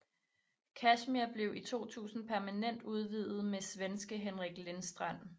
Kashmir blev i 2000 permanent udvidet med svenske Henrik Lindstrand